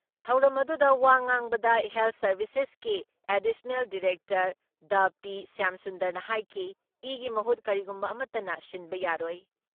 ꯊꯧꯔꯝ ꯑꯗꯨꯨꯗ ꯋꯥ ꯉꯥꯡꯕꯗ ꯍꯦꯜꯠ ꯁꯥꯔꯚꯤꯁꯦꯁꯀꯤ ꯑꯦꯗꯤꯁꯅꯦꯜ ꯗꯥꯏꯔꯦꯛꯇꯔ ꯗꯥ ꯄꯤ. ꯁ꯭ꯌꯥꯝꯁꯨꯟꯗꯔꯅ ꯍꯥꯏꯈꯤ ꯏꯒꯤ ꯃꯍꯨꯠ ꯀꯔꯤꯒꯨꯝꯕ ꯑꯃꯠꯇꯅ ꯁꯤꯟꯕ ꯌꯥꯔꯣꯏ ꯫